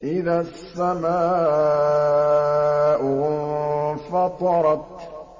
إِذَا السَّمَاءُ انفَطَرَتْ